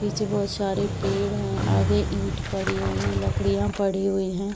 पीछे बहुत सारे पेड़ है आगे ईट पड़ी हुई है लकड़ियाँ पड़ी हुई है।